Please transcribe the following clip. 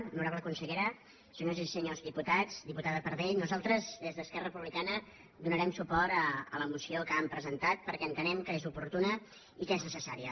honorable consellera senyores i senyors diputats diputada pardell nosaltres des d’esquerra republicana donarem suport a la moció que han presentat perquè entenem que és oportuna i que és necessària